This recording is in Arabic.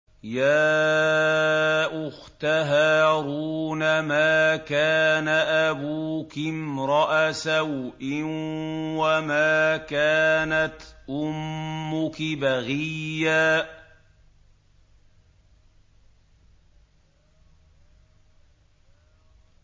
يَا أُخْتَ هَارُونَ مَا كَانَ أَبُوكِ امْرَأَ سَوْءٍ وَمَا كَانَتْ أُمُّكِ بَغِيًّا